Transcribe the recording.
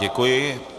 Děkuji.